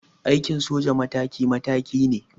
Aikin soja mataki mataki ne.